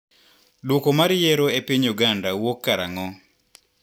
Duoko mar yiero e piny Uganda wuok karang`o?